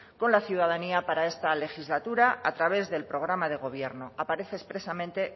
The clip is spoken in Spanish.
con la ciudadanía para esta legislatura a través del programa de gobierno aparece expresamente